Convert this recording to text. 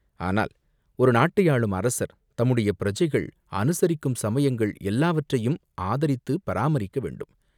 ஆனால் ஒரு நாட்டை ஆளும் அரசர் தம்முடைய பிரஜைகள் அனுசரிக்கும் சமயங்கள் எல்லாவற்றையும் ஆதரித்துப் பராமரிக்கவேண்டும்.